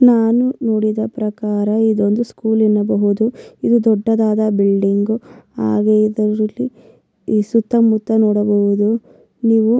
ನಾನು ನೋಡಿದ ಪ್ರಕಾರ ಇದೊಂದು ಸ್ಕೂಲ್ ಎನ್ನಬಹುದು ಇದು ದೊಡ್ಡದಾದ ಬಿಲ್ಡಿಂಗ್ ಹಾಗೆ ಇದರಲ್ಲಿ ಈ ಸುತ್ತಮುತ್ತ ನೋಡಬಹುದು ನೀವು --